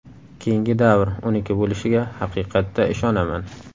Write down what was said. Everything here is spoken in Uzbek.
Keyingi davr uniki bo‘lishiga haqiqatda ishonaman.